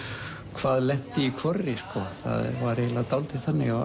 hvað lenti í hvorri sko það var eiginlega dálítið þannig